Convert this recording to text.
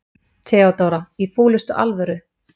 THEODÓRA: Í fúlustu alvöru.